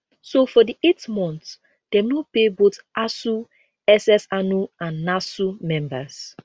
so for di eight months dem no pay both asuu ssanu and nasu members